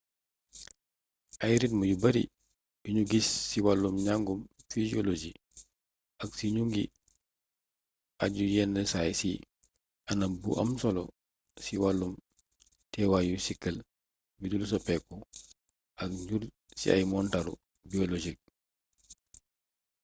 ay ritm yu bari yuñu gis ci wàllum njangum physiolosi ak ci ñu ngi aju yenn saay ci anam bu am solo ci wàllum teewaayu siikël yudul soppeeku ak njur ci ay montaru biologiques